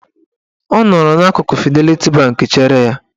Ọ nọrọ n'akụkụ Fideliti Bank chere ya.